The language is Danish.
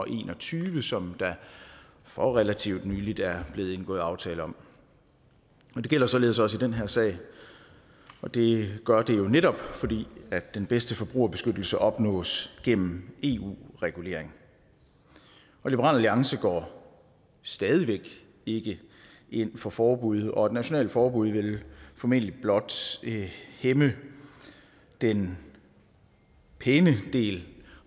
en og tyve som der for relativt nylig er blevet indgået aftale om det gælder således også i den her sag og det gør det jo netop fordi den bedste forbrugerbeskyttelse opnås gennem eu regulering liberal alliance går stadig væk ikke ind for forbud og et nationalt forbud vil formentlig blot hæmme den pæne del